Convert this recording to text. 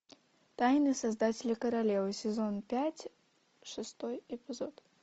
тайные создатели королевы сезон пять шестой эпизод